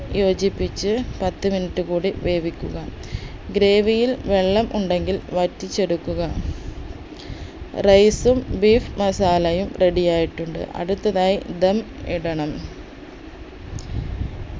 യോജിപ്പിച്ച് പത്ത് minute കൂടി വേവിക്കുക gravy യിൽ വെള്ളം ഉണ്ടെങ്കിൽ വറ്റിച്ചെടുക്കുക rice ഉം beef masala യും ready ആയിട്ടുണ്ട് അടുത്തതായി ധം ഇടണം